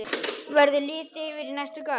Verður litið yfir í næsta garð.